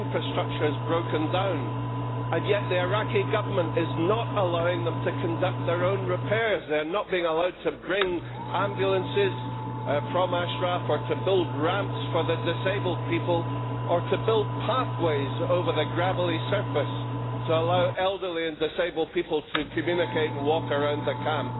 the infrastructure has broken down, and yet the Iraqi Government is not allowing them to conduct their own repairs. They are not being allowed to bring ambulances from Ashraf, to build ramps for disabled people or to build pathways over the gravelly surface to allow elderly and disabled people to communicate and walk around the camp.